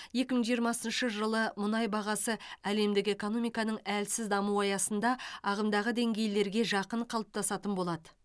екі мың жиырмасыншы жылы мұнай бағасы әлемдік экономиканың әлсіз дамуы аясында ағымдағы деңгейлерге жақын қалыптасатын болады